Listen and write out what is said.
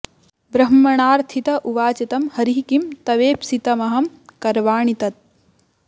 ब्रह्मणार्थित उवाच तं हरिः किं तवेप्सितमहं करवाणि तत्